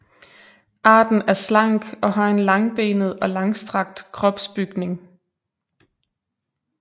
Arten er slank og har en langbenet og langstrakt kropsbygning